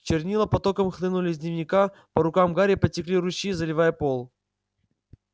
чернила потоком хлынули из дневника по рукам гарри потекли ручьи заливая пол